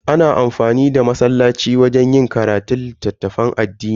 Ana iya amfani da masallaci wajen yin karatun littafan addini.